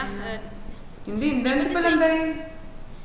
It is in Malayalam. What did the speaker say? ഇന്റെ internship ന്റെ ന്തായി